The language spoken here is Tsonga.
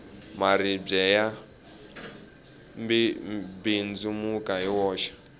maribye ya mbindzimuka hi woxe